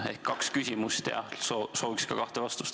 Seega on mul kaks küsimust ja soovin ka kahte vastust.